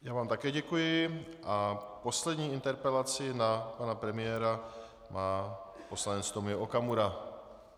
Já vám také děkuji a poslední interpelaci na pana premiéra má poslanec Tomio Okamura.